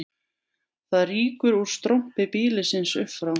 Það rýkur úr strompi býlisins upp frá